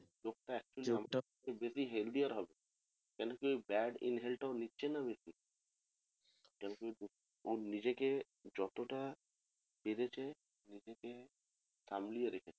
কেন কি ওই bad inhale টা ও নিচ্ছে না বেশি ও নিজেকে যতটা পেরেছে নিজেকে সামলিয়ে রেখেছে